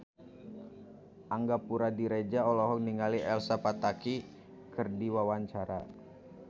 Angga Puradiredja olohok ningali Elsa Pataky keur diwawancara